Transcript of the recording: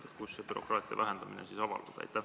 Milles see bürokraatia vähendamine avaldub?